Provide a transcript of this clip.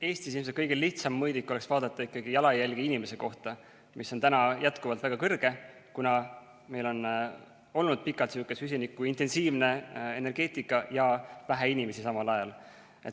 Eestis ilmselt kõige lihtsam mõõdik oleks vaadata ikkagi jalajälge inimese kohta, mis on jätkuvalt väga kõrge, kuna meil on olnud pikalt süsinikuintensiivne energeetika ja vähe inimesi samal ajal.